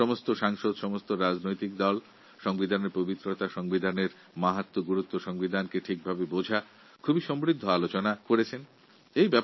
প্রতিটি দল প্রতিটি সাংসদ সংবিধানের পবিত্রতা গুরুত্ব এবং সংবিধানকে সঠিক ভাবে বোঝার বিষয়ে খুব ভালো আলোচনা করেছেন